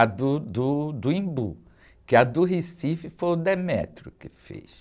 A do, do, do Embu, que a do Recife foi o que fez.